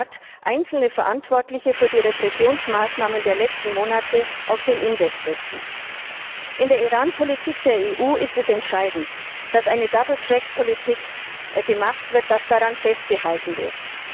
der Rat einzelne Verantwortliche für die Repressionsmaßnahmen der letzten Monate auf den Index setzen. In der Iranpolitik der EU ist es entscheidend, dass eine double track Politik gemacht wird und dass daran festgehalten wird.